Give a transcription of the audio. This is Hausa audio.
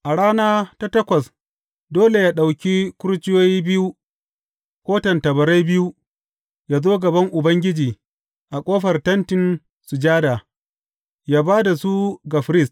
A rana ta takwas dole yă ɗauki kurciyoyi biyu ko tattabarai biyu, yă zo gaban Ubangiji a ƙofar Tentin Sujada, yă ba da su ga firist.